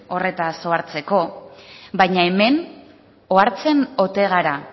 horretaz ohartzeko baina hemen ohartzen ote gara